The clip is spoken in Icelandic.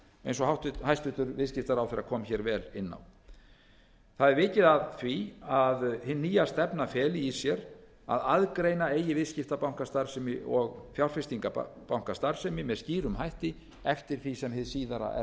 eins og hæstvirtur viðskiptaráðherra kom hér vel inn á það er vikið að því að hin nýja stefna feli í sér að aðgreina eigi viðskiptabankastarfsemi og fjárfestingarbankastarfsemi með skýrum hætti eftir því sem hið síðara er þá við lýði